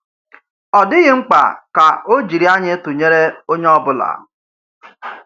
Ọ̀ dịghị mkpa kà ọ̀ jírí ànyị tụnyere onye ọ̀ bụla.